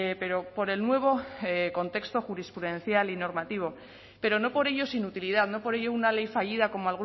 pero por el nuevo contexto jurisprudencial y normativo pero no por ello sin utilidad no por ello una ley fallida como